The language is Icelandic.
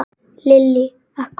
Lillý: Af hverju?